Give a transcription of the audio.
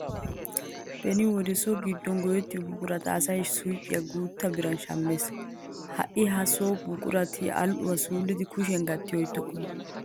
Beni wode so giddon go"ettiyo buqurata asay suuqiyappe guutta biran shammees. Ha"i ha so buqurati al"uwa suullidi kushiyan gatti oyttokkona.